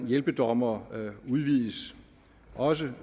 hjælpedommer udvides også